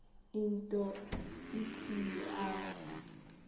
nto ithile apho